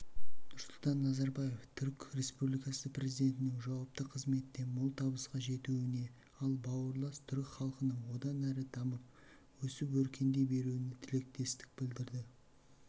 нұрсұлтан назарбаев түрік республикасы президентінің жауапты қызметте мол табысқа жетуіне ал бауырлас түрік халқының одан әрі дамып өсіп-өркендей беруіне тілектестік білдірді